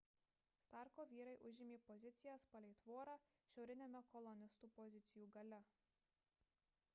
starko vyrai užėmė pozicijas palei tvorą šiauriniame kolonistų pozicijų gale